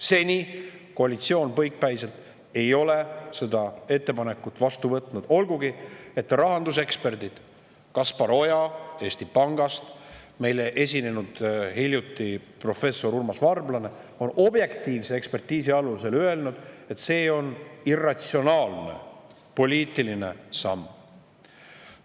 Seni ei ole koalitsioon põikpäiselt seda ettepanekut vastu võtnud, olgugi et rahanduseksperdid Kaspar Oja Eesti Pangast ja meile hiljuti esinenud professor Urmas Varblane on objektiivse ekspertiisi alusel öelnud, et see on irratsionaalne poliitiline samm.